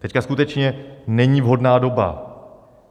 Teď skutečně není vhodná doba.